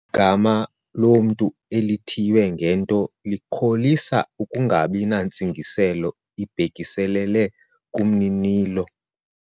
Igama lomntu elithiywe ngento likholisa ukungabi nantsingiselo ibhekiselele kumninilo.